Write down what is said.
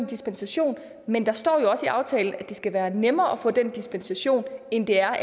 dispensation men der står jo også i aftalen at det skal være nemmere at få den dispensation end det er